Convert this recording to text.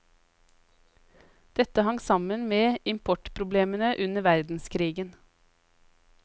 Dette hang sammen med importproblemene under verdenskrigen.